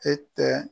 E tɛ